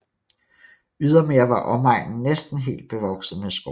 Ydermere var omegnen næsten helt bevokset med skov